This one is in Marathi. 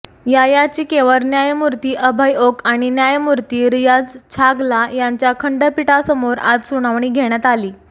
या याचिकेवर न्यायमूर्ती अभय ओक आणि न्यायमूर्ती रियाज छागला यांच्या खंडपीठासमोर आज सुनावणी घेण्यात आली